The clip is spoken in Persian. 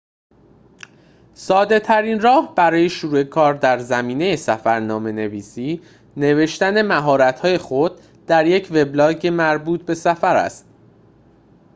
ساده ترین راه برای شروع کار در زمینه سفرنامه نویسی نوشتن مهارت های خود در یک وبلاگ مربوط به سفر است